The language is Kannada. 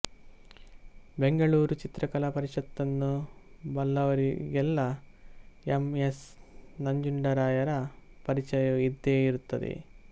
ಬೆಂಗಳೂರು ಚಿತ್ರಕಲಾ ಪರಿಷತ್ತನ್ನು ಬಲ್ಲವರಿಗೆಲ್ಲಾ ಎಂ ಎಸ್ ನಂಜುಂಡರಾಯರ ಪರಿಚಯವೂ ಇದ್ದೇ ಇರುತ್ತದೆ